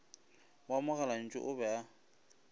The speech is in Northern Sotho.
wa mogalantšu o be a